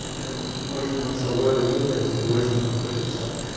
и чем больше мы о свободе думаем тем больше нам хочется